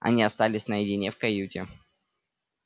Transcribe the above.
они остались наедине в каюте